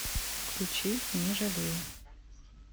включи не жалею